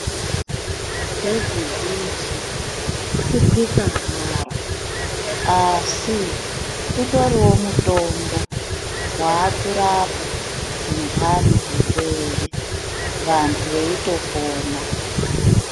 Bhedhi bhushi, kukwika haro asi utoriwo mutombo waakurapa zvindanhi, zvirwere wandu weitopona.